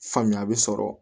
Faamuya bɛ sɔrɔ